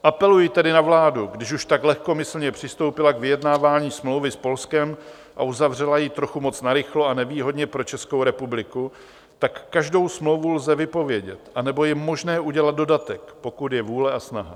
Apeluji tedy na vládu, když už tak lehkomyslně přistoupila k vyjednávání smlouvy s Polskem a uzavřela ji trochu moc narychlo a nevýhodně pro Českou republiku, tak každou smlouvu lze vypovědět, anebo je možné udělat dodatek, pokud je vůle a snaha.